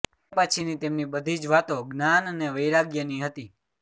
તે પછીની તેમની બધી જ વાતો જ્ઞાન ને વૈરાગ્યની હતી